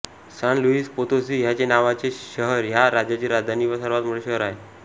San Luis Potosi ह्याच नावाचे शहर ह्या राज्याची राजधानी व सर्वात मोठे शहर आहे